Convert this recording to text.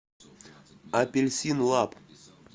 апельсин лаб